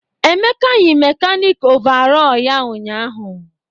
Emeka yi mekanịkị ọvarọọr ya ụnyahụ.